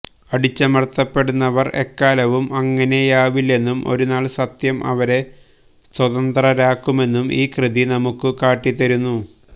അടിച്ചമര്ത്തപ്പെടുന്നവര് എക്കാലവും അങ്ങനെയാവില്ലെന്നും ഒരുനാള് സത്യം അവരെ സ്വതന്ത്രരാക്കുമെന്നും ഈ കൃതി നമുക്ക് കാട്ടിത്തരുന്നു